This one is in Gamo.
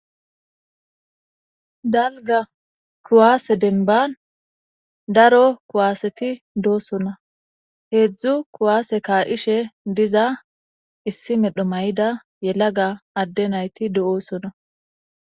Dalgga kuwase dembban daro kuwasetti dossonna hedzdzu kuwase ka'ishe diza issi medho maayida yelagga adde naytti de'ossonna